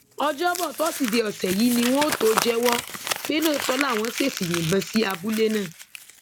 ọjọbọ tọsídẹẹ ọsẹ yìí ni wọn ó tóó jẹwọ pé lóòótọ làwọn ṣèèṣì yìnbọn sí abúlé náà